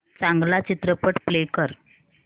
चांगला चित्रपट प्ले कर